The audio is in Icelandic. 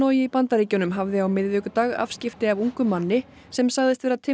í Bandaríkjunum hafði á miðvikudag afskipti af ungum manni sem sagðist vera